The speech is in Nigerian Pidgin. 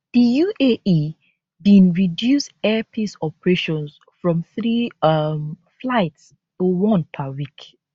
di uae bin reduce air peace operations from three um flights to one per week